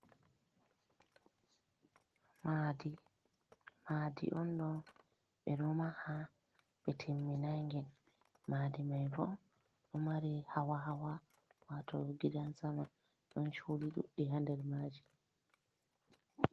Madi, madi on ɗo ɓeɗo maha ɓe timminangen madi mai bo ɗo mari hawa hawa wato gidan sama ɗon chudi ɗuɗɗi ha nder maji.